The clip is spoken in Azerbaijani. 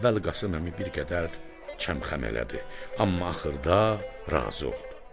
Əvvəl Qasım əmi bir qədər şəmxəm elədi, amma axırda razı oldu.